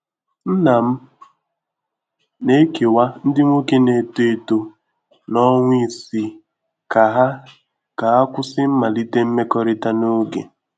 Nna m na-ekewa ndị nwoke na-eto eto na ọnwa isii ka ha ka ha kwụsị mmalite mmekọrịta n'oge.